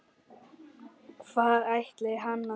Hvar ætli hann sofi?